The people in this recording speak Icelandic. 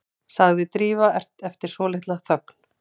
sagði Drífa eftir svolitla þögn.